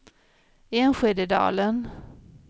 Enskededalen